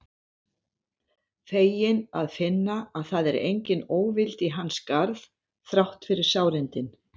Feginn að finna að það er engin óvild í hans garð þrátt fyrir sárindin.